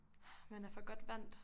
Ah man er for godt vandt